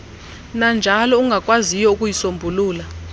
nanjalo ungakwaziyo ukuyisombulula